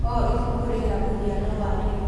O ibuku rĩna mũhiano wa rĩo.